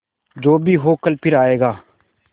जो भी हो कल फिर आएगा